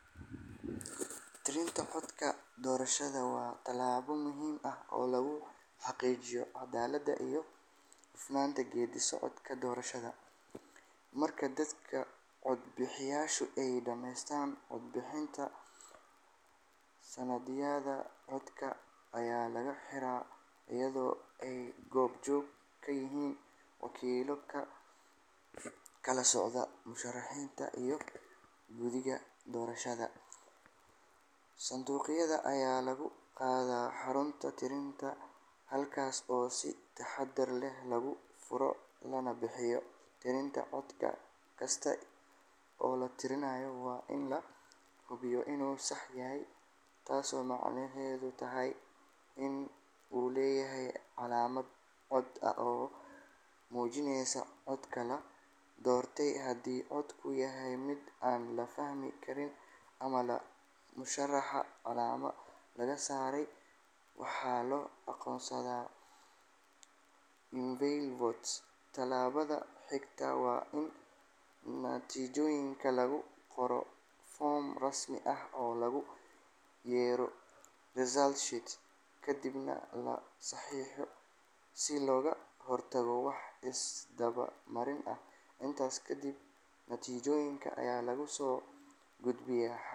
Tirinta codadka doorashada waa tallaabo muhiim ah oo lagu xaqiijiyo caddaaladda iyo hufnaanta geedi socodka doorashada. Marka dadka codbixiyaashu ay dhameeyaan codbixinta, sanduuqyada codadka ayaa la xiraa iyadoo ay goob joog ka yihiin wakiillo ka kala socda musharrixiinta iyo guddiga doorashada. Sanduuqyada ayaa lagu qaadaa xarunta tirinta halkaas oo si taxaddar leh loogu furo lana bilaabo tirinta. Cod kasta oo la tirinayo waa in la hubiyaa inuu sax yahay, taasoo macnaheedu yahay in uu leeyahay calaamad cad oo muujinaysa qofka la doortay. Haddii codku yahay mid aan la fahmi karin ama labo musharrax calaamad laga saaray, waxaa loo aqoonsadaa invalid vote. Tallaabada xigta waa in natiijooyinka lagu qoro foom rasmi ah oo loogu yeero result sheet, kadibna la saxiixo si looga hortago wax is-daba marin ah. Intaas ka dib, natiijooyinka ayaa lagu soo gudbiyaa.